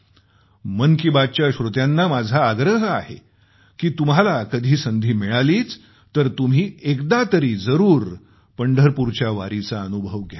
मन की बात च्या श्रोत्यांना माझा आग्रह आहे की तुम्हाला कधी संधी मिळालीच तर तुम्ही एकदा तरी जरूर पंढरपूरच्या वारीचा अनुभव घ्यावा